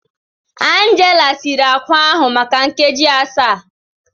Angela siri akwa ahụ maka nkeji asaa